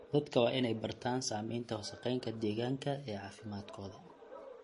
Dadka waa in ay bartaan saamaynta wasakheynta deegaanka ee caafimaadkooda.